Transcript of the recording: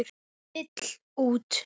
Vill út.